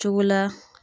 Cogo la